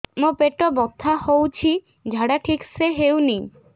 ମୋ ପେଟ ବଥା ହୋଉଛି ଝାଡା ଠିକ ସେ ହେଉନି